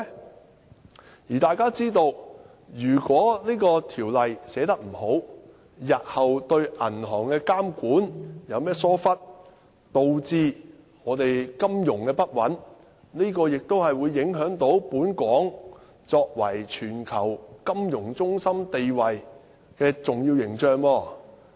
正如大家也知道，如果《條例草案》寫得不好，日後對銀行的監管有任何疏忽，導致金融不穩，亦會影響本港作為全球金融中心地位的重要形象。